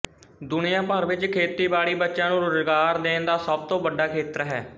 ਦੁਨੀਆ ਭਰ ਵਿੱਚ ਖੇਤੀਬਾੜੀ ਬੱਚਿਆਂ ਨੂੰ ਰੁਜ਼ਗਾਰ ਦੇਣ ਦਾ ਸਭ ਤੋਂ ਵੱਡਾ ਖੇਤਰ ਹੈ